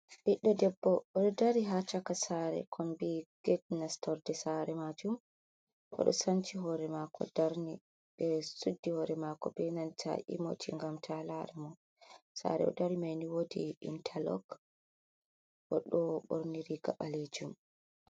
Biddo debbo ,odo dari ha chaka sare konbi gitnastorde sare majum ,odo sanci hore mako darni be suddi hore mako be nanta imoti ,gam ta lare mo sare o dari mai ni wodi intalog o do borniri ga alejum.